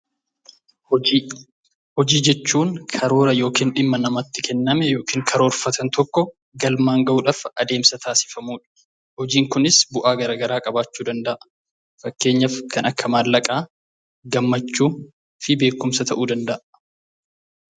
Hojii: Hojii jechuun karoora yookiin dhimma namatti kenname yookiin karoorfatan tokko galmaan gahuudhaaf adeemsa taasifamudha. Hojiin kunis bu'aa gara garaa qabaachuu danda’a. Fakkeenyaaf kan akka maallaqaa, gammachuu fi beekumsa ta'uu danda’a.